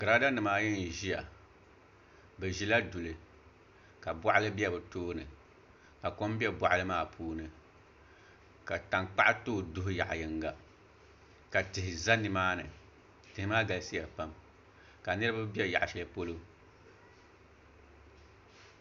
Girada nim ayi n ʒiya bi ʒila duli ka boɣali bɛ bi tooni ka kom bɛ boɣali maa puuni ka tankpaɣu too duɣu yaɣa yinga ka tihi ʒɛ nimaani tihi maa galisiya pam ka niraba bɛ yaɣa shɛli polo